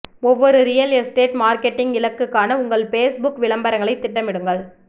ஒவ்வொரு real estate marketing இலக்குக்கான உங்கள் பேஸ்புக் விளம்பரங்களை திட்டமிடுங்கள்